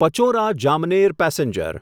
Pachora Jamner passenger